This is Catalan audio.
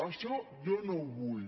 això jo no ho vull